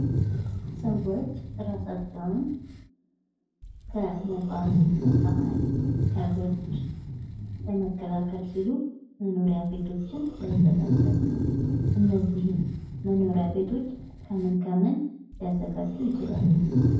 ሰዎች ራሳቸውን ከነፋስ ከጸሐይ ከብርድ ለመከላከል ሲሉ መኖሪያ ቤቶችን ያዘጋጃሉ። እነዚህን መኖሪያ ቤቶች ከምን ከምን ሊያዘጋጁ ይችላሉ?